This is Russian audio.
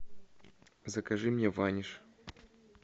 закажи мне ваниш